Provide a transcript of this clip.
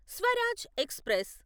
Swaraj express